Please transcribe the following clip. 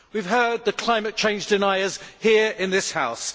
We have heard the climate change deniers here in this House.